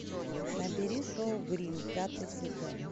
набери шоу гримм пятый сезон